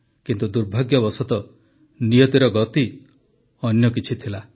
କିନ୍ତୁ ଦୁର୍ଭାଗ୍ୟବଶତଃ ନିୟତିର ଗତି ଅନ୍ୟ କିଛି ଥିଲା